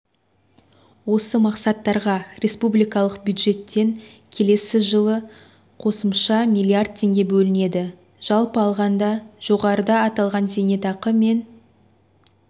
осы мақсаттарға республикалық бюджеттен келесі жылы қосымша миллиард теңге бөлінеді жалпы алғанда жоғарыда аталған зейнетақы мен